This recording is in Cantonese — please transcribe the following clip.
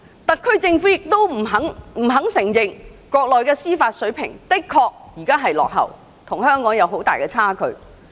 特區政府不肯承認，國內的司法水平現在仍然落後，與香港仍有很大差距。